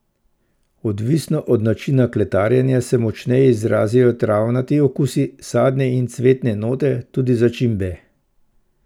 Odvisno od načina kletarjenja se močneje izrazijo travnati okusi, sadne in cvetne note, tudi začimbe.